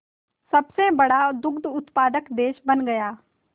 सबसे बड़ा दुग्ध उत्पादक देश बन गया